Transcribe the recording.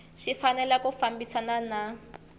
xi fanele ku fambisana na